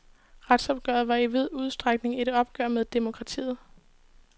Retsopgøret var i vid udstrækning et opgør med demokratiet.